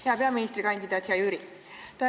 Hea peaministrikandidaat, hea Jüri!